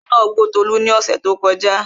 ajá nàá gbó Tolú ní ọ̀ṣẹ̀ tí ó kọjá